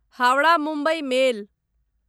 Howrah Mumbai मेल